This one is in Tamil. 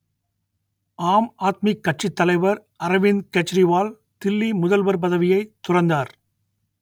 ஆம் ஆத்மி கட்சித் தலைவர் அரவிந்த் கெஜ்ரிவால் தில்லி முதல்வர் பதவியைத் துறந்தார்